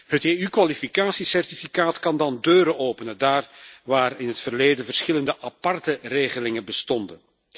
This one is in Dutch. Het EU kwalificatiecertificaat kan dan deuren openen daar waar in het verleden verschillende aparte regelingen bestonden.